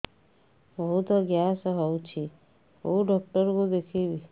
ବହୁତ ଗ୍ୟାସ ହଉଛି କୋଉ ଡକ୍ଟର କୁ ଦେଖେଇବି